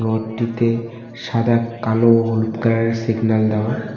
বোর্ডটিতে সাদা কালো হলুদ কালারের সিগন্যাল দেওয়া।